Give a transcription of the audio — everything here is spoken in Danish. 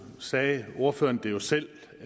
sagde ordføreren det jo selv